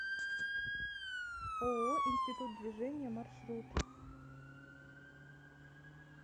ооо институт движения маршрут